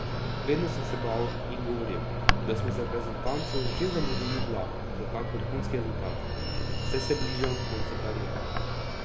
Vedno sem se bal in govoril, da smo z reprezentanco že zamudili vlak za kak vrhunski rezultat, saj se bližam koncu kariere.